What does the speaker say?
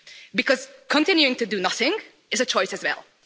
Because continuing to do nothing is a choice as well.